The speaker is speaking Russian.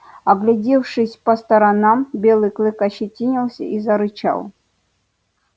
оглядевшись по сторонам белый клык ощетинился и зарычал